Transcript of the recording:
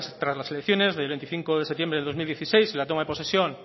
tras las elecciones del veinticinco de septiembre de dos mil dieciséis en la toma de posesión